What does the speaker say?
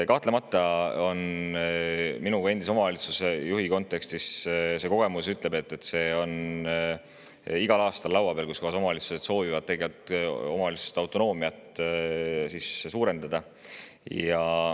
Kahtlemata ütlen enda kui endise omavalitsusjuhi kogemuse põhjal selles kontekstis, et igal aastal on laua peal see, et omavalitsused soovivad omavalitsuste autonoomia suurendamist.